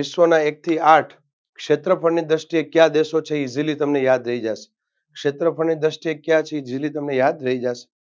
વિશ્વના એક થી આઠ ક્ષેત્રફળી દૃષ્ટિએ કયા દેશો છે એ Easily તમને યાદ રહી જાશે ક્ષેત્રફળની દૃષ્ટિએ કયા છે Easily તમને યાદ રહી જાશે.